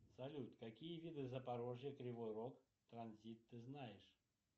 салют какие виды запорожье кривой рог транзит ты знаешь